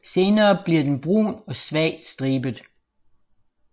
Senere bliver den brun og svagt stribet